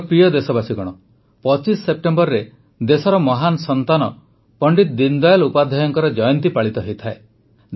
ମୋର ପ୍ରିୟ ଦେଶବାସୀଗଣ ୨୫ ସେପ୍ଟେମ୍ବରରେ ଦେଶର ମହାନ ସନ୍ତାନ ପଣ୍ଡିତ ଦୀନଦୟାଲ୍ ଉପାଧ୍ୟାୟଙ୍କ ଜୟନ୍ତୀ ପାଳିତ ହୋଇଥାଏ